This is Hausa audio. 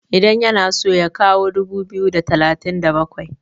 idan yana so ya kawo dubu biyu da talatin da bakwai?